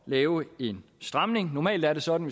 lave en stramning normalt er det sådan